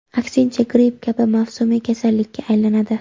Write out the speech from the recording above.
Aksincha, gripp kabi mavsumiy kasallikka aylanadi.